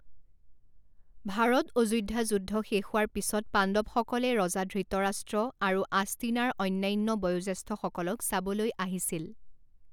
ভাৰত অযোধ্যা যুদ্ধ শেষ হোৱাৰ পিছত পাণ্ডৱসকলে ৰজা ধৃতৰাষ্ট্ৰ আৰু আষ্টিনাৰ অন্যান্য বয়োজ্যেষ্ঠসকলক চাবলৈ আহিছিল।